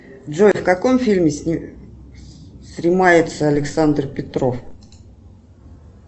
джой в каком фильме снимается александр петров